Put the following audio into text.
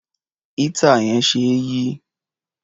Éétà yẹn ṣe é yí.